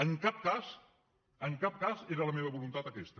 en cap cas en cap cas era la meva voluntat aquesta